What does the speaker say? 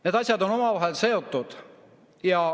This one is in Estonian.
Need asjad on omavahel seotud.